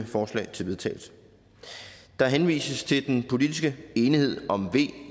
forslag til vedtagelse der henvises til den politiske enighed om v